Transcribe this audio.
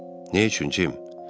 Nə üçün, Jim?